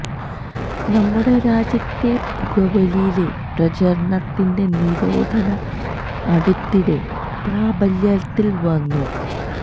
നമ്മുടെ രാജ്യത്തെ പുകവലി ലെ പ്രചരണത്തിന്റെ നിരോധന അടുത്തിടെ പ്രാബല്യത്തിൽ വന്നു